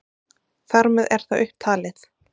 Þar með er það upptalið.